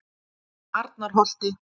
Arnarholti